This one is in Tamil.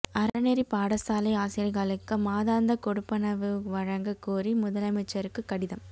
அறநெறி பாடசாலை ஆசிரியர்களுக்கு மாதாந்த கொடுப்பனவு வழங்க கோரி முதலமைச்சருக்கு கடிதம்